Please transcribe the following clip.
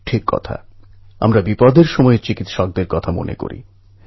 বই ছাড়া কোনও উপায় নেই পড়াশোনা তো করতেই হবে